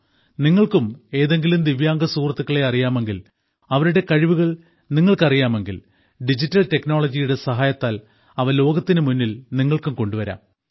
നിങ്ങൾക്കും ഏതെങ്കിലും ദിവ്യാംഗ സുഹൃത്തുക്കളെ അറിയാമെങ്കിൽ അവരുടെ കഴിവുകൾ നിങ്ങൾക്ക് അറിയാമെങ്കിൽ ഡിജിറ്റൽ ടെക്നോളജിയുടെ സഹായത്താൽ അവ ലോകത്തിനു മുന്നിൽ നിങ്ങൾക്ക് കൊണ്ടുവരാം